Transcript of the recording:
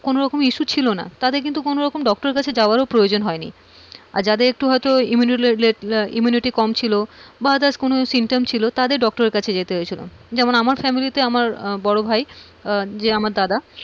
কোন রকম issue ছিল না তাদের কিন্তু কোন রকম doctor কাছে যাওয়ার ও প্রয়োজন হয় নি, যাদের একটু হয়তো immunity কম ছিল বা others কোনো symptoms ছিল তাদের doctor এর কাছে যেতে হয়েছিল, যেমন আমার family তে আমার বড়ভাই যে আমার দাদা,